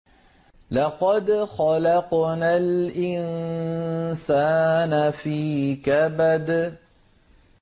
لَقَدْ خَلَقْنَا الْإِنسَانَ فِي كَبَدٍ